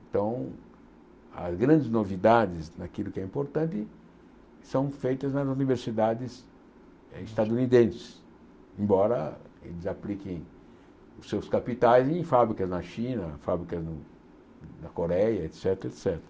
Então, as grandes novidades naquilo que é importante são feitas nas universidades eh estadunidenses, embora eles apliquem os seus capitais em fábricas na China, fábricas no na Coreia, et cétera et cétera